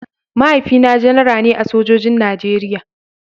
Mahaifina Janara ne a sojojin Najeriya.